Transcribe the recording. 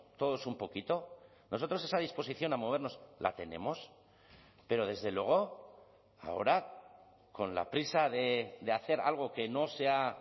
todos un poquito nosotros esa disposición a movernos la tenemos pero desde luego ahora con la prisa de hacer algo que no se ha